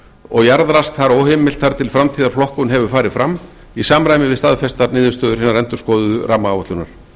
og jarðrask þar óheimilt þar til framtíðarflokkun hefur farið fram í samræmi við staðfestar niðurstöður hinnar endurskoðuðu rammaáætlunar